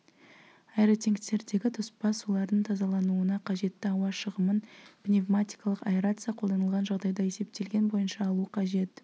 аэротенктердегі тоспа сулардың тазалануына қажетті ауа шығымын пневматикалық аэрация қолданылған жағдайда есептелген бойынша алу қажет